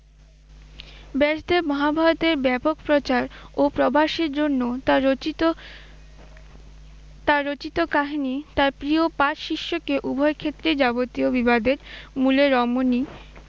ব্যাসদেব মহাভারতের ব্যাপক প্রচার ও প্রবাসের জন্য তাঁর রচিত, তাঁর রচিত কাহিনী তাঁর প্রিয় পাঁচ শিষ্যকে উভয় ক্ষেত্রেই যাবতীয় বিবাদের মূলে রমনী